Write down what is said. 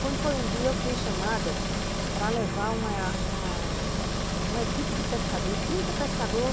Quando foi um dia, eu fui chamada para levar uma uma uma equipe de pescador, trinta pescadores